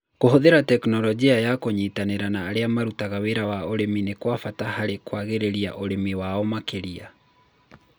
Kũhũthĩra tekinoronjĩ na kũnyitanĩra na arĩa marutaga wĩra wa ũrĩmi nĩ kwa bata harĩ kwagĩrĩria ũrĩmi wao makĩria.